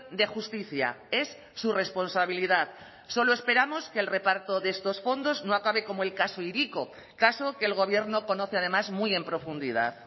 de justicia es su responsabilidad solo esperamos que el reparto de estos fondos no acabe como el caso hiriko caso que el gobierno conoce además muy en profundidad